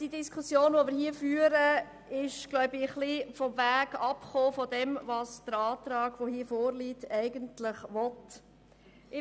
Die Diskussion, die wir hier führen, ist meiner Meinung nach vom Weg abgekommen, den der Antrag eigentlich beschreiten will.